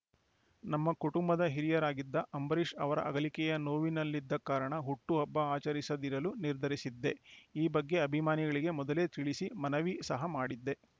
ನಮ್ಮ ಕುಟುಂಬದ ಹಿರಿಯರಾಗಿದ್ದ ಅಂಬರೀಷ್‌ ಅವರ ಅಗಲಿಕೆಯ ನೋವಿನಲ್ಲಿದ್ದ ಕಾರಣ ಹುಟ್ಟುಹಬ್ಬ ಆಚರಿಸದಿರಲು ನಿರ್ಧರಿಸಿದ್ದೆ ಈ ಬಗ್ಗೆ ಅಭಿಮಾನಿಗಳಿಗೆ ಮೊದಲೇ ತಿಳಿಸಿ ಮನವಿ ಸಹ ಮಾಡಿದ್ದೆ